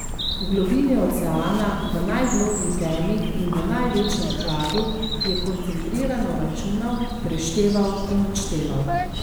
V globini oceana, v najgloblji temi in v največjem hladu, je koncentrirano računal, prešteval in odšteval.